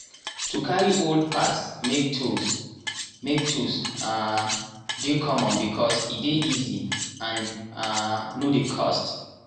to carry old parts make tool make tool um dey common becos e dey easy and um no dey cost.